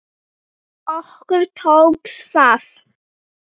Okkur tókst það.